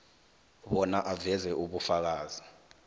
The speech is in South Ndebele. bona aveze ubufakazi